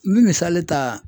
N bɛ misali ta